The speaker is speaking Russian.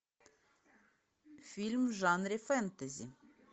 фильм в жанре фэнтези